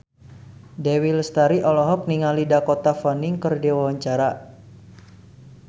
Dewi Lestari olohok ningali Dakota Fanning keur diwawancara